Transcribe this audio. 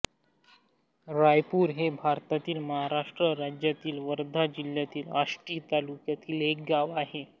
राईपूर हे भारतातील महाराष्ट्र राज्यातील वर्धा जिल्ह्यातील आष्टी तालुक्यातील एक गाव आहे